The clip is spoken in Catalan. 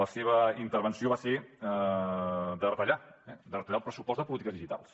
la seva intervenció va ser de retallar de retallar el pressupost de polítiques digitals